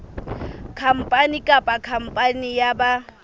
khampani kapa khampani ya ba